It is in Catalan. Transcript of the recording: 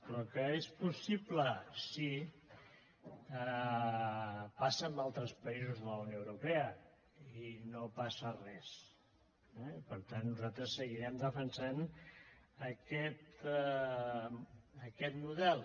però que és possible sí passa en altres països de la unió europea i no passa res eh per tant nosaltres seguirem defensant aquest model